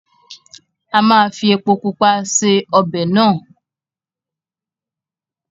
a ma fi epo-pupa se ọbẹ̀ náà.